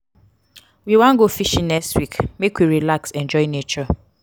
we wan go fishing next week make we relax enjoy nature.